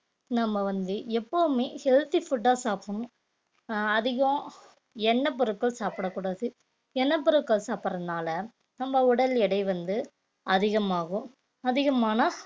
நம்ம வந்து எப்பவுமே healthy food அ சாப்பிடணும் அஹ் அதிகம் எண்ணெய் பொருட்கள் சாப்பிடக் கூடாது எண்ணெய் பொருட்கள் சாப்பிடறதுனால நம்ம உடல் எடை வந்து அதிகமாகும் அதிகமான